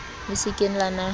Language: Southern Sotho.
le se ke la nahana